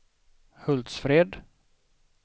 Hultsfred